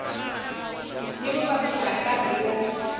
ni vuvabyi bya nkarhi wo